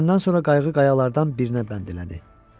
Düşəndən sonra qayıq qayalardan birinə bənd elədi.